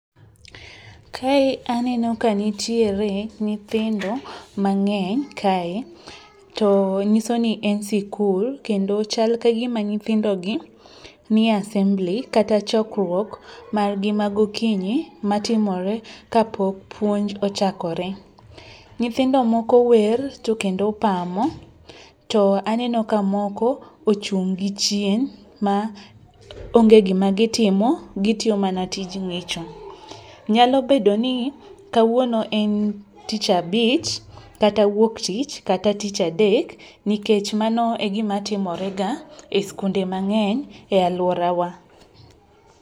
Kae aneno kanitiere nyithindo mang'eny kae to nyiso ni en sikul kendo chal kagima nyithindogi nie asembli kata chokruok margi magokinyi matimore kapok puonj ochakore. Nyithindo moko wer to kendo pamo to aneno ka moko ochung' gi chien ma onge gima gitimo, gitiyo mana tij ng'icho. Nyalo bedo ni kawuono en tich abich kata wuoktich kata tich adek nikech mano e gimatimorega e skunde mang'eny e alworawa.